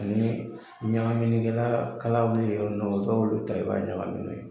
Ani ɲagaminɛkɛla kala wili bɛ yɔrɔ min i b'olu ta i b'a ɲagami n'o ye.